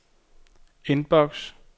indboks